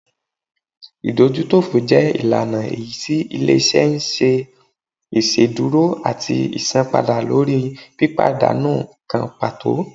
ìdójútòfò jẹ ìlànà èyítí ilé-iṣẹ́ n ṣe iṣedúró atí isánpàda lórí pípadánú kan pàtó